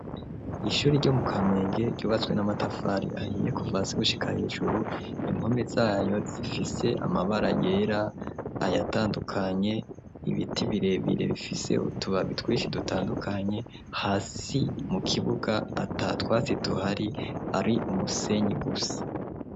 Ishuri ryo mu Kamenge ryubatswe n'amatafari ahiye kuva hasi gushika hejuru inpome zayo zifise amabara yera ayatandukanye ibiti birebire bifise utubabi twishi dutandukanye hasi mu kibuga ata twasi tuhari ari umusenyi gusa.